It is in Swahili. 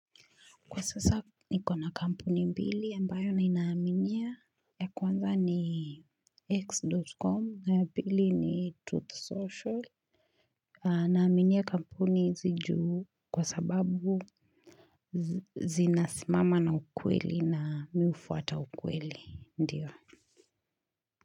Kwa sasa nikona kampuni mbili ambayo ninaaminia. Ya kwanza ni x.com ya pili ni truth social. Naaminia kampuni hizi juu kwa sababu zinasimama na ukweli na mimi hufuata ukweli ndiyo.